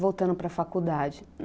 Voltando para a faculdade.